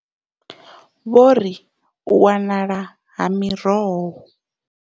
Vho ri u wanala ha miroho.